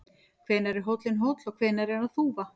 Hvenær er hóllinn hóll og hvenær er hann þúfa?